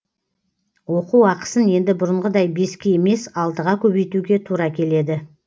оқу ақысын енді бұрынғыдай беске емес алтыға көбейтуге тура келеді